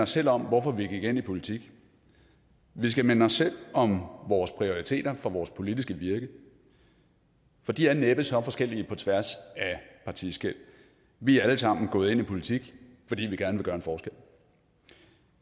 selv om hvorfor vi gik ind i politik vi skal minde os selv om vores prioriteter for vores politiske virke for de er næppe så forskellige på tværs af partiskel vi er alle sammen gået ind i politik fordi vi gerne vil gøre en forskel